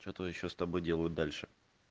что-то ещё с тобой делают дальше